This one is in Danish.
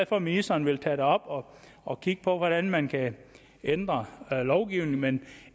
for at ministeren vil tage det op og kigge på hvordan man kan ændre lovgivningen men